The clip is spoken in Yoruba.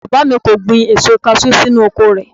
Bàbá mi kò gbin èso kaṣú sínú oko rẹ̀